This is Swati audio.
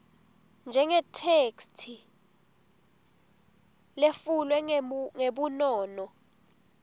njengetheksthi letfulwe ngebunono